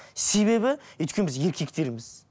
себебі өйткені біз еркектерміз